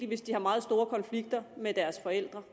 hvis de har meget store konflikter med deres forældre